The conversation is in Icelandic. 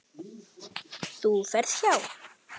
Þú ferð hjá